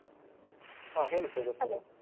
ಹಾ ಹೇಳಿ ತೇಜಸ್ವಿನಿ.